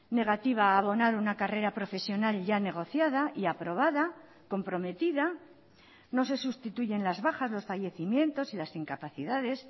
negativa a abonar una carrera profesional ya negociada y aprobada comprometida no se sustituyen las bajas los fallecimientos y las incapacidades